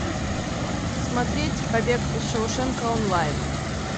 смотреть побег из шоушенка онлайн